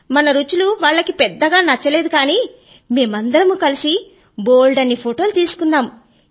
మన రుచులు వాళ్ళకి పెద్దగా నచ్చలేదు కానీ మేమందరమూ కలిసి బోలెడు ఫోటోలు తీసుకున్నాము